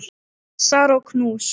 Kossar og knús.